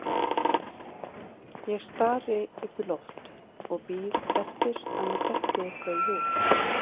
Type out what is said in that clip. Ég stari upp í loft og bíð eftir að mér detti eitthvað í hug.